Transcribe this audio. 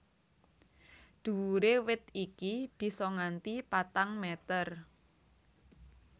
Dhuwure wit iki bisa nganti patang meter